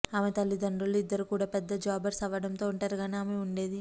ఆమె తల్లిదండ్రులు ఇద్దరు కూడా పెద్ద జాబర్స్ అవ్వడంతో ఒంటరిగానే ఆమె ఉండేది